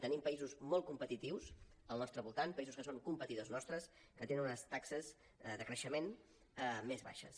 tenim països molt competitius al nostre voltant països que són competidors nostres que tenen unes taxes de creixement més baixes